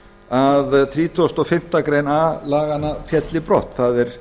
að þrítugasta og fimmtu grein a laganna félli brott það er